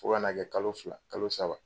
Fo ka na kɛ kalo fila kalo saba